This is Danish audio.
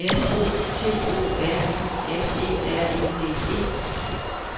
M O T O R I S E R E D E